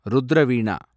ருத்ர வீணா